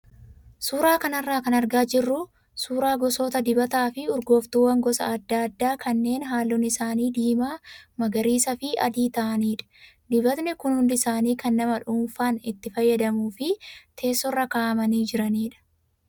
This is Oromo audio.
Suuraa kanarraa kan argaa jirru suuraa gosoota dibataa fi urgooftuuwwan gosa adda addaakannee halluun isaanii diimaa , magariisaa fi adii ta'anidha. Dibatni kun hundi isaanii kan nama dhuunfaan itti fayyadamuu fi teessoorra kaa'amanii jiranidha.